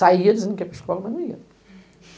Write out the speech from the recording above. Saía dizendo que ia para a escola, mas não ia.